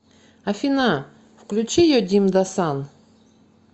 афина включи йодимдасан